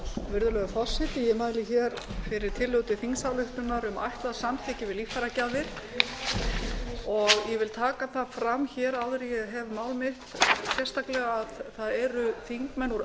virðulegur forseti ég mæli hér fyrir tillögu til þingsályktunar um ætlað samþykki við líffæragjafir ég vil taka það fram hér áður en ég hef mál mitt sérstaklega að það eru þingmenn úr